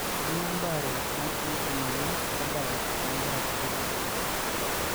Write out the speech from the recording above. kanyio embaare natii te moyian orbae loo nkera kutitik